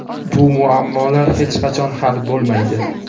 bu muammolar hech qachon hal bo‘lmaydi.